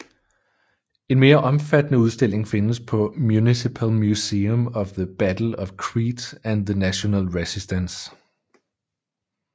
En mere omfattende udstilling findes på Municipal Museum of the Battle of Crete and the National Resistance